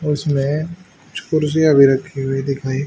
और उसमें कुछ कुर्सियां भी रखी हुई दिखाई--